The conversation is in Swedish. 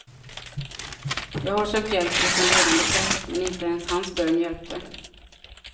Jag har sökt hjälp hos en ledande präst, men inte ens hans bön hjälpte.